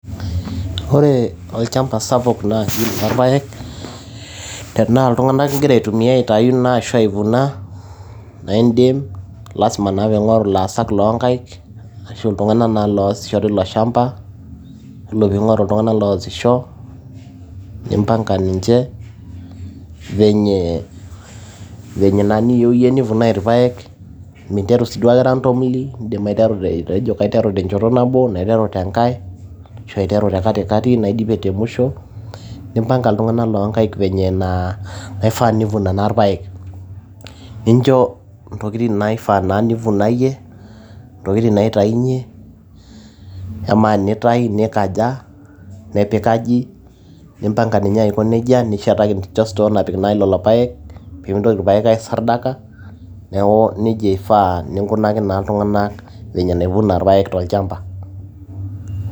Ore olchamba sapuk naa ololpaek, naa tenaa iltung'anak ingira aotumia aitayu ashu aivuna naa indim lasima naa pee ingoru laasak loo inkaik iltunag'anak naa loo osisho nimpanga ninche , venye niyieu iyie neivunae ilpaek, minteru sii duake randomly indim aiteru tenchoto nabo anaa interu tenkae ashu interu te katikati naidip te musho. Nimpanga iltung'anak loonkaik vile naifaa pee eivuna ilpaek. Nincho intokiti naa ivunayie, intokiti naitayunye, amaa teneitayu nepik aji impanga ako neija nishetaki store napik ilpaek peyie meitoki ilpaek ai sardaka. Neaku neija iefaa peyie inkunaki naa iltung'anak venye navuna ilpaek tolcahmba.